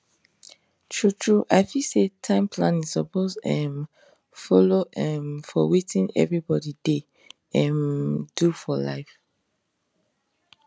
truetrue i feel say time planning suppose um follow um for wetin everybody dey um do for life